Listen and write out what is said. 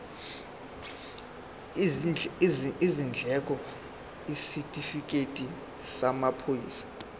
izindleko isitifikedi samaphoyisa